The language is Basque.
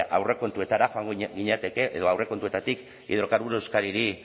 aurrekontuetara joan ginateke edo aurrekontuetatik hidrocarburos de euskadiri